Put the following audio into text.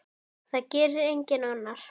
Það gerir enginn annar.